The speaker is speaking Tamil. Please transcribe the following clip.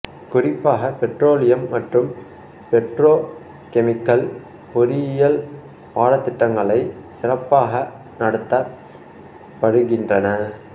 குறிப்பாக பெட்ரோலியம் மற்றும் பெட்ரோ கெமிக்கல் பொறியியல் பாடத்திட்டங்களை சிறப்பாக நடத்தப் படுகின்றன